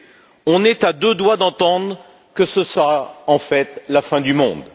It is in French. Nous sommes à deux doigts d'entendre que ce sera, en fait, la fin du monde.